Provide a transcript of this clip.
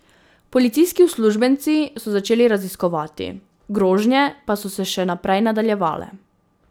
Policijski uslužbenci so začeli raziskovati, grožnje pa so se še naprej nadaljevale.